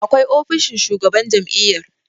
akwai ofishin shugaban jami'yar